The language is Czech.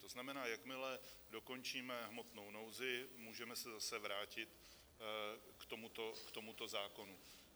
To znamená, jakmile dokončíme hmotnou nouzi, můžeme se opět vrátit k tomuto zákonu.